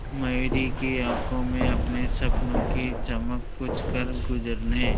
मयूरी की आंखों में अपने सपनों की चमक कुछ करगुजरने